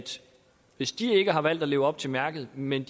hvis de ikke har valgt at leve op til mærket men